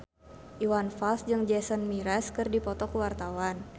Iwan Fals jeung Jason Mraz keur dipoto ku wartawan